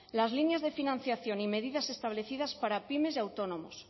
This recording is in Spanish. las líneas de financiación y medidas establecidas para pymes y autónomos